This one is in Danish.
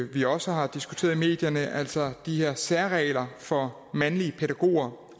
vi også har diskuteret i medierne altså de her særregler for mandlige pædagoger